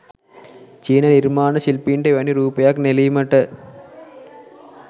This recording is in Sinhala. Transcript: චීන නිර්මාණ ශිල්පීන්ට එවැනි රූපයක් නෙළීමට